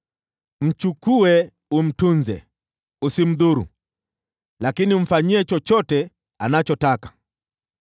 “Mchukue umtunze. Usimdhuru, lakini umfanyie chochote anachotaka.”